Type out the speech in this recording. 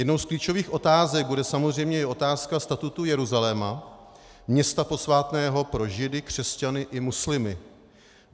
Jednou z klíčových otázek bude samozřejmě i otázka statutu Jeruzaléma, města posvátného pro Židy, křesťany i muslimy.